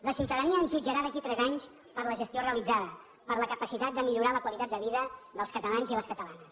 la ciutadania ens jutjarà d’aquí a tres anys per la gestió realitzada per la capacitat de millorar la qualitat de vida dels catalans i les catalanes